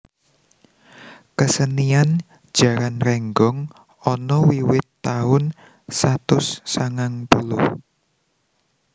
Kesenian jaran rénggong ana wiwit taun satus sangang puluh